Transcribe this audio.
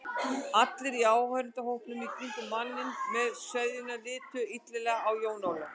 Allir í áhorfendahópnum í kringum manninn með sveðjuna litu illilega á Jón Ólaf.